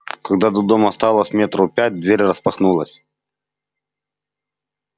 когда до дома осталось метров пять дверь распахнулась